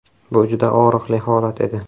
Bu juda og‘riqli holat edi.